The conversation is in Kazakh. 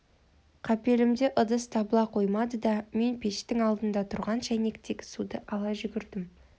қапелімде ыдыс табыла қоймады да мен пештің алдында тұрған шайнектегі суды ала жүгірдім